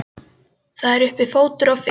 Það er uppi fótur og fit.